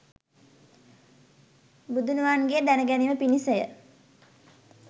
බුදුනුවන්ගේ දැන ගැනීම පිණිස ය.